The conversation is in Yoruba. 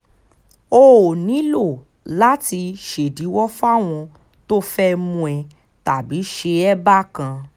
o ò nílò láti ṣèdíwọ́ fáwọn tó fẹ́ẹ́ mú ẹ tàbí ṣe é bákan